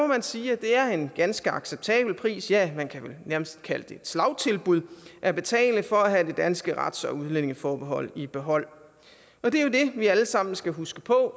man sige at det er en ganske acceptabel pris ja man kan vel nærmest kalde det et slagtilbud at betale for at have det danske rets og udlændingeforbehold i behold og det er jo det vi alle sammen skal huske på